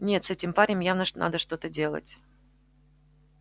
нет с этим парнем явно надо что-то делать